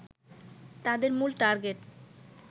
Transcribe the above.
তাদের মূল টার্গেট